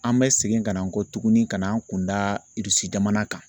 An bɛ segin ka na an kɔ tuguni ka na an kun da jamana kan